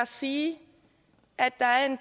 sige at de